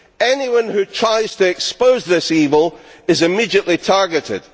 Anyone who tries to expose this evil is immediately targeted.